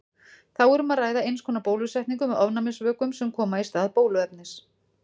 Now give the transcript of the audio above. Þá er um að ræða eins konar bólusetningu með ofnæmisvökum sem koma í stað bóluefnis.